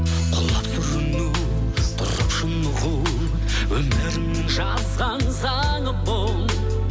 құлап сүріну тұрып шынығу өмірім жазған заңы бұл